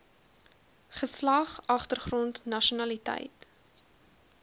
geslag agtergrond nasionaliteit